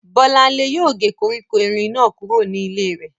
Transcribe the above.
Bọ́lánlé yóò gé koríko erin náà kúrò ní ilé rẹ̀